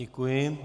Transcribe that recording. Děkuji.